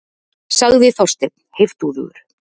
sagði Þorsteinn heiftúðugur.